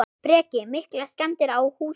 Breki: Miklar skemmdir á húsinu?